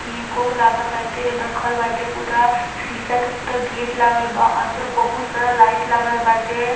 Cake - ऊक लागता टेल रखल बाटे पूरा शीशा के पूरा गेट लगल बा अंदर बहुत सारा लाइट लागल बाटे।